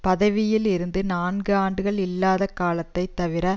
பதவியில் இருந்து நான்கு ஆண்டுகள் இல்லாத காலத்தை தவிர